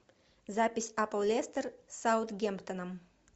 запись апл лестер с саутгемптоном